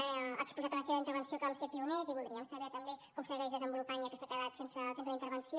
ha exposat a la seva intervenció que vam ser pioners i voldríem saber també com es segueix desenvolupant ja que s’ha quedat sense temps a la intervenció